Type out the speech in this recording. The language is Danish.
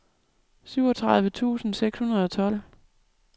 syvogtredive tusind seks hundrede og tolv